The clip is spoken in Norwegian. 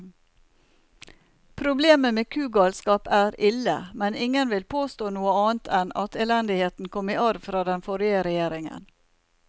Problemet med kugalskap er ille, men ingen vil påstå noe annet enn at elendigheten kom i arv fra den forrige regjeringen.